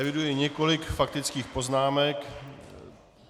Eviduji několik faktických poznámek.